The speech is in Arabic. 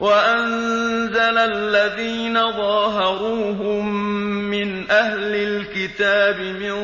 وَأَنزَلَ الَّذِينَ ظَاهَرُوهُم مِّنْ أَهْلِ الْكِتَابِ مِن